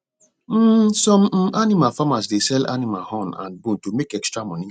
um some um animal farmers dey sell animal horn and bone to make extra money